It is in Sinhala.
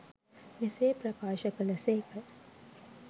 මෙසේ ප්‍රකාශ කළ සේක.